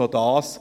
noch dies: